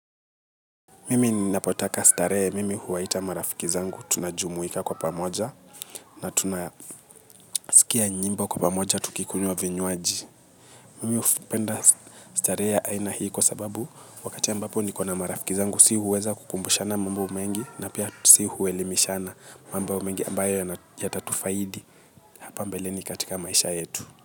Mimi napotaka starea mimi huwaita marafiki zangu tunajumuika kwa pamoja na tunasikia njimbo kwa pamoja tukikunywa vinywaji. Mimi upenda starehe ya aina hii wa sababu wakati ambapo nikona marafiki zangu si huweza kukumbushana mambo umengi na pia si huelimishana mambo umengi ambayo ya tatufaidi hapa mbeleni katika maisha yetu.